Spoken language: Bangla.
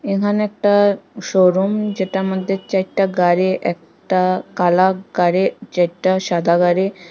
এখানে একটা শোরুম যেটার মদ্যে চাইরটা গাড়ি একটা কালা গাড়ি চাইরটা সাদা গাড়ি।